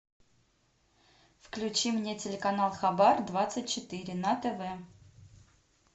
включи мне телеканал хабар двадцать четыре на тв